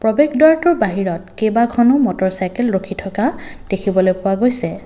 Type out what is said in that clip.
প্ৰৱেশ দ্বাৰটোৰ বাহিৰত কেইবাখনো মটৰ চাইকেল ৰখি থকা দেখিবলৈ পোৱা গৈছে।